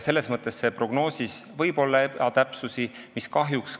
Selles mõttes võib prognoosis olla ebatäpsusi.